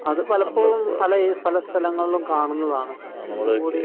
അത് പലപ്പോഴും പല സ്ഥലങ്ങളിലും കാണുന്നതാണ്